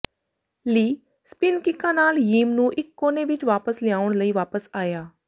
ਲੀ ਸਪਿਨ ਕਿੱਕਾਂ ਨਾਲ ਯੀਮ ਨੂੰ ਇਕ ਕੋਨੇ ਵਿਚ ਵਾਪਸ ਲਿਆਉਣ ਲਈ ਵਾਪਸ ਆਇਆ